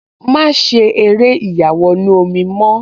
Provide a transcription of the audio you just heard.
Má ṣe eré ìyàwọnù-omi mọ́